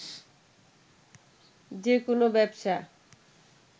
যে কোনো ব্যবসা